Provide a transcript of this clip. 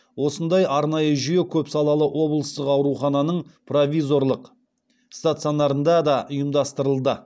осындай арнайы жүйе көпсалалы облыстық аурухананың провизорлық стационарында да ұйымдастырылды